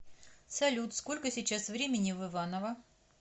салют сколько сейчас времени в иваново